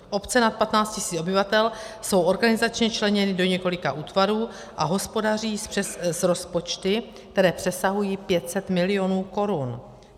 Obce nad 15 tisíc obyvatel jsou organizačně členěny do několika útvarů a hospodaří s rozpočty, které přesahují 500 milionů korun.